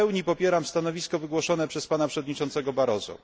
W pełni popieram stanowisko wygłoszone przez pana przewodniczącego Barroso.